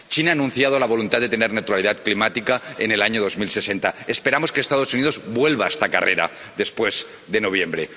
China ha anunciado la voluntad de tener neutralidad climática en el año 2060, esperamos que los Estados Unidos vuelvan a esta carrera después de noviembre.